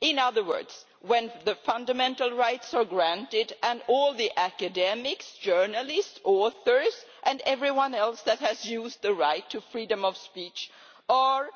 In other words when the fundamental rights are granted and all the academics, journalists, authors and everyone else that has used the right to freedom of speech are